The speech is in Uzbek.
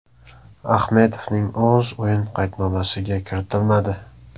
Ahmedovning o‘zi o‘yin qaydnomasiga kiritilmadi.